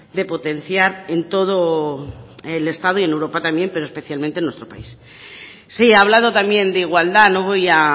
de potenciar en todo el estado y en europa también pero especialmente en nuestro país sí ha hablado también de igualdad no voy a